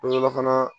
fana